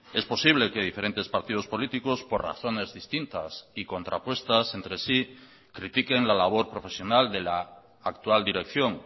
es posible que diferentes partidos políticos por razones distintas y contrapuestas entre sí critiquen la labor profesional de la actual dirección